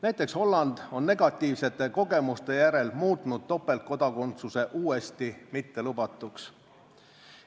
Näiteks Holland on negatiivsete kogemuste järel muutnud topeltkodakondsuse uuesti mittelubatuks.